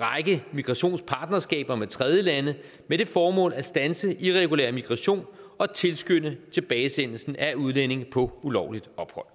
række migrationspartnerskaber med tredjelande med det formål at standse irregulær migration og tilskynde tilbagesendelsen af udlændinge på ulovligt ophold